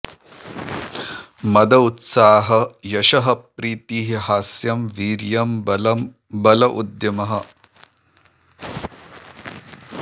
मद उत्साहः यशः प्रीतिः हास्यं वीर्यं बल उद्यमः